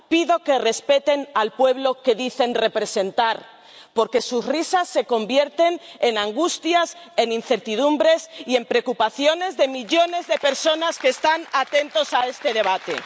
Pido que respeten al pueblo que dicen representar, porque sus risas se convierten en angustias, en incertidumbres y en preocupaciones de millones de personas que están atentos a este debate.